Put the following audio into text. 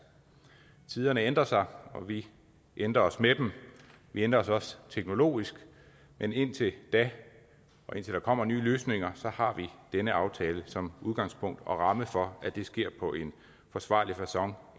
tiderne ændrer sig og vi ændrer os med dem vi ændrer os også teknologisk men indtil da og indtil der kommer nye løsninger så har vi denne aftale som udgangspunkt og ramme for at det sker på en forsvarlig facon